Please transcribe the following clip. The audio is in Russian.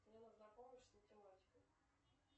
мне нужна помощь с математикой